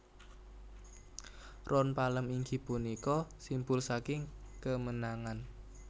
Ron palem inggih punika simbul saking kemenangan